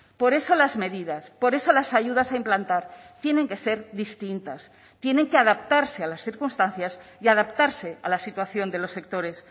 por eso las medidas por eso las ayudas a implantar tienen que ser distintas tienen que adaptarse a las circunstancias y adaptarse a la situación de los sectores